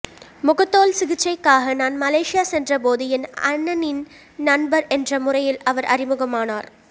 முகத்தோல் சிகிச்சைக்காக நான் மலேசியா சென்ற போது என் அண்ணனின்நண்பர் என்ற முறையில் அவர் அறிமுகமானார்